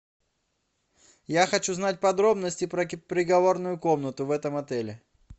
я хочу знать подробности про переговорную комнату в этом отеле